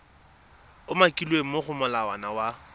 umakilweng mo go molawana wa